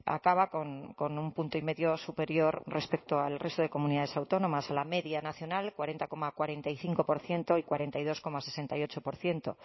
acaba con un punto y medio superior respecto al resto de comunidades autónomas a la media nacional cuarenta coma cuarenta y cinco por ciento y cuarenta y dos coma sesenta y ocho por ciento